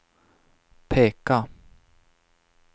peka